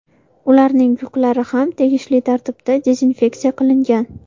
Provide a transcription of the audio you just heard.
Ularning yuklari ham tegishli tartibda dezinfeksiya qilingan.